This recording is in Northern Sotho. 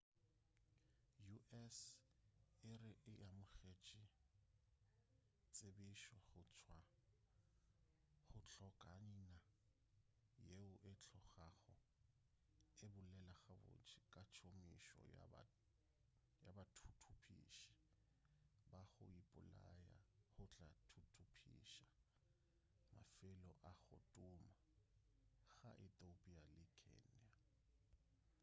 u.s. e re e amogetše tsebišo go tšwa go hlokaina yeo e tlogago e bolela gabotse ka tšomišo ya bathuthupiši ba go ipolaya go tla thuthupiša mafelo a go tuma ka ethiopia le kenya